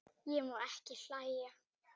Ég má ekki hlæja.